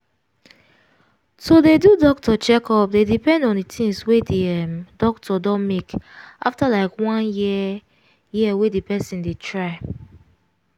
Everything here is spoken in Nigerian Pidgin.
to dey do doctor checkup dey depend on the things wey the um doctor don make after like one year year wey person dey try